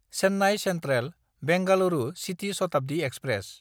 Chennai सेन्ट्रेल–बेंगलुरु city Shatabdi express